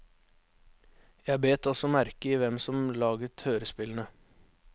Jeg bet også merke i hvem som laget hørespillene.